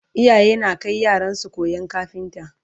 iyaye na Kai yaransu koyan kafinta